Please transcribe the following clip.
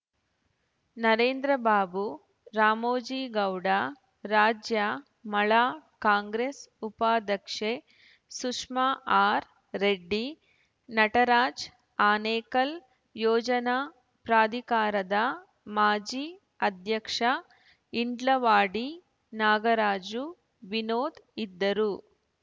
ನರೇಂದ್ರಬಾಬು ರಾಮೋಜಿಗೌಡ ರಾಜ್ಯ ಮಳಾ ಕಾಂಗ್ರೆಸ್‌ ಉಪಾಧ್ಯಕ್ಷೆ ಸುಷ್ಮಾ ಆರ್‌ ರೆಡ್ಡಿ ನಟರಾಜ್‌ ಆನೇಕಲ್‌ ಯೋಜನಾ ಪ್ರಾಧಿಕಾರದ ಮಾಜಿ ಅಧ್ಯಕ್ಷ ಇಂಡ್ಲವಾಡಿ ನಾಗರಾಜು ವಿನೋದ್‌ ಇದ್ದರು